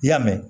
I y'a mɛn